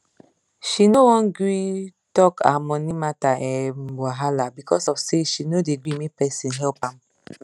she no wan gree tok her money matter um wahala becos of say she no dey gree make person help am